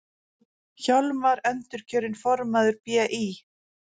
Hjálmar endurkjörinn formaður BÍ